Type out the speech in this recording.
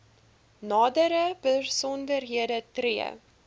nadere besonderhede tree